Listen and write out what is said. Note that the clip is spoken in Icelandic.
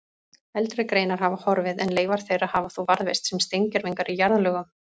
Eldri greinar hafa horfið en leifar þeirra hafa þó varðveist sem steingervingar í jarðlögum.